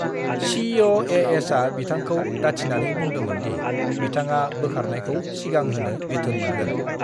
सी.अ.ए.एस.आ बिथांखौ दाथिनानै बुंदोंमोन दि बिथांआ बोखारनायखौ सिगांहोनो बिथोन मोनगोन।